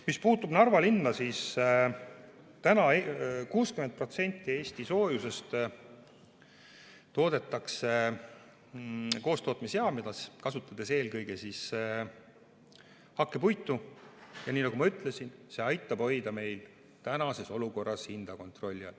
Mis puutub Narva linna, siis 60% Eesti soojusest toodetakse koostootmisjaamades, kasutades eelkõige hakkepuitu, ja nii nagu ma ütlesin, see aitab meil tänases olukorras hoida hindu kontrolli all.